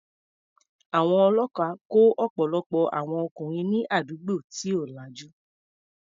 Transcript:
Àwọn ọlọ́pàá kó ọ̀pọ̀lọpọ̀ àwọn ọkùnrin ní àdúgbò tí ò lajú.